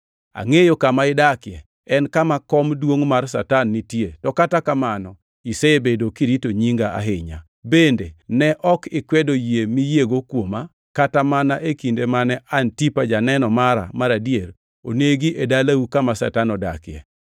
Angʼeyo kama idakie. En kama kom duongʼ mar Satan nitie to kata kamano isebedo kirito nyinga ahinya. Bende ne ok ikwedo yie miyiego kuoma, kata mana e kinde mane Antipa janeno mara mar adier onegi e dalau kama Satan odakie.